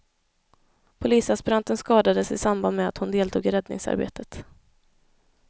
Polisaspiranten skadades i samband med att hon deltog i räddningsarbetet.